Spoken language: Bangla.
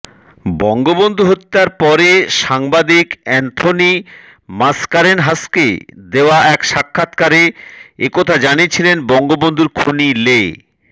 বঙ্গবন্ধু হত্যার পরে সাংবাদিক এ্যান্থনি মাসকারেনহাসকে দেওয়া এক সাক্ষাতকারে এ কথা জানিয়েছিলেন বঙ্গবন্ধুর খুনি লে